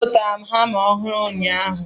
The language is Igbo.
A zụtara m hama ọhụụ ụnyaahụ.